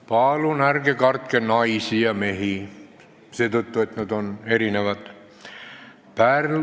Palun ärge kartke naisi ja mehi seetõttu, et nad on erinevad!